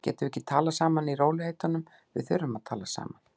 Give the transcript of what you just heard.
Getum við ekki talað saman í rólegheitum. við þurfum að tala saman.